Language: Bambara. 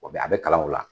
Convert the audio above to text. O bɛ a bɛ kalan o la